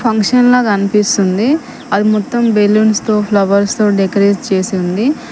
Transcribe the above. ఫంక్షన్ల కనిపిస్తుంది. అది మొత్తం బెలూన్స్ తో ఫ్లవర్స్ తో డెకరేజ్ చేసి ఉంది.